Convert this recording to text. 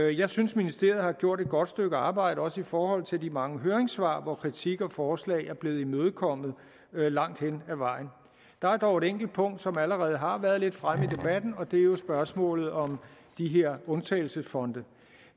jeg synes ministeriet har gjort et godt stykke arbejde også i forhold til de mange høringssvar hvor kritik og forslag er blevet imødekommet langt hen ad vejen der er dog et enkelt punkt som allerede har været lidt fremme i debatten og det er jo spørgsmålet om de her undtagelsesfonde